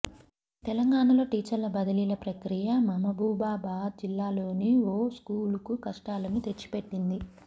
తెలంగాణలో టీచర్ల బదిలీల ప్రక్రియ మమబూబాబాద్ జిల్లాలోని ఓ స్కూల్కు కష్టాలను తెచ్చిపెట్టింది